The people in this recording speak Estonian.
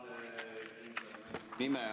Tänan!